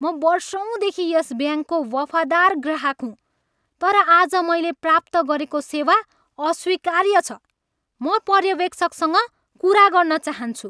म वर्षौँदेखि यस ब्याङ्कको वफादार ग्राहक हुँ, तर आज मैले प्राप्त गरेको सेवा अस्वीकार्य छ। म पर्यवेक्षकसँग कुरा गर्न चाहन्छु!